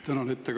Tänan!